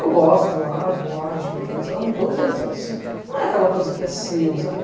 Eu gosto de ir lá, vou lá, respeito eles, amo todos eles, mas assim, não é aquela coisa que é seu, sabe?